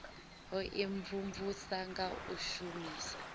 u imvumvusa nga u shumisa